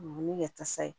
Ni ye tasa ye